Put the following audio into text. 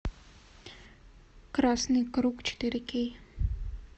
красный круг четыре кей